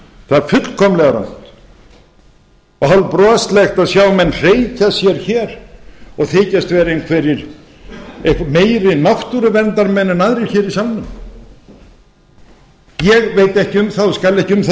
það er fullkomlega rangt það er hálfbroslegt að sjá menn hreykja sér hér og þykjast vera einhverjir meiri náttúruverndarmenn en aðrir hér í salnum ég veit ekki um og skal ekki um það